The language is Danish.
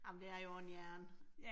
Ej, men det er jo også en hjerne